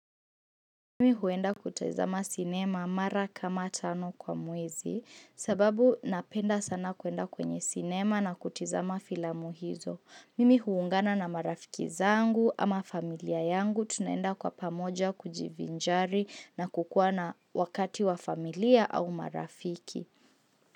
Mimi huenda kutazama sinema mara kama tano kwa mwezi, sababu napenda sana kuenda kwenye sinema na kutizama filamu hizo. Mimi huungana na marafiki zangu ama familia yangu, tunaenda kwa pamoja kujivinjari na kukua na wakati wa familia au marafiki.